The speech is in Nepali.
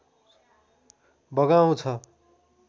बगाउँछ